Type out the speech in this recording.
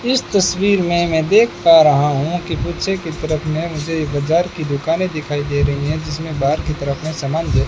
इस तस्वीर में मैं देख पा रहा हूं कि पीछे की तरफ ने मुझे ये बाजार की दुकानें दिखाई दे रही हैं जिसमें बाहर की तरफ में समान--